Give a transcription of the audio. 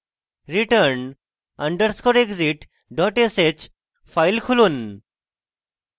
return underscore exit dot sh file খুলুন